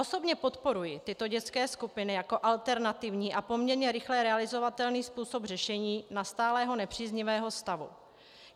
Osobně podporuji tyto dětské skupiny jako alternativní a poměrně rychle realizovatelný způsob řešení nastalého nepříznivého stavu.